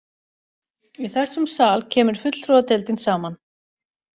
Í þessum sal kemur fulltrúadeildin saman.